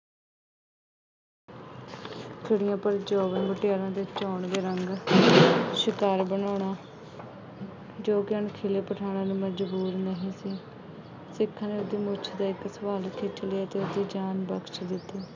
ਖਰੀਆਂ ਭਰ ਜੋਬਨ ਮੁਟਿਆਰਾਂ ਦੇ ਚੋਣਵੇਂ ਰੰਗ ਸ਼ਿਕਾਰ ਬਣਾਉਣਾ ਜੋ ਕਿ ਅਣ-ਸੁਲੇ ਪਠਾਨਾਂ ਨੂੰ ਮੰਨਜ਼ੂਰ ਨਹੀਂ ਸੀ। ਸਿੱਖਾਂ ਨੇ ਉਸਦੀ ਮੁੱਛ ਦਾ ਇੱਕ ਵਾਲ ਖਿੱਚ ਲਿਆ ਅਤੇ ਉਸਦੀ ਜਾਨ ਬਖਸ਼ ਦਿੱਤੀ।